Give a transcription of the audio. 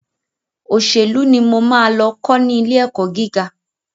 Òṣèlú ni mo máa lọ kọ́ ní ilé ẹ̀kọ́ gíga.